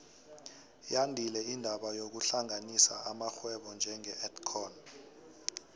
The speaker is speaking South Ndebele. yandile indaba yokuhlanganisa amarhwebo njenge edcon